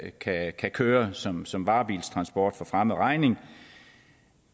kan kan køre som som varebilstransport for fremmed regning